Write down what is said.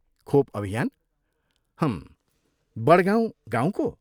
खोप अभियान, हम्, वडगाउँ गाँउको।